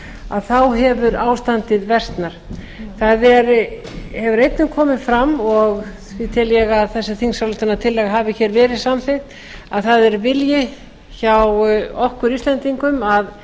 að þá hefur ástandið versnað það hefur einnig komið fram og því tel ég að þessi þingsályktunartillaga hafi hér verið samþykkt að það er vilji hjá okkur íslendingum að